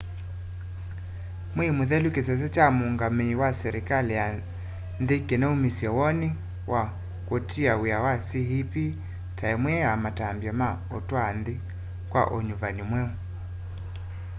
mwei mũthelu kĩsese kya muungamii wa selikali ya nthi kinaumisye woni wa kũtia wia kwa cep ta imwe ya matambya ma utwaa nthi kwa unyuvani mweu